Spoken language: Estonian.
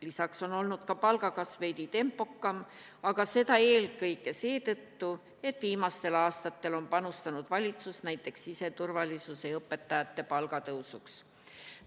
Lisaks on olnud ka nende palga kasv veidi tempokam, aga seda eelkõige seetõttu, et viimastel aastatel on panustanud valitsus näiteks siseturvalisuse ja õpetajate palga tõusuks.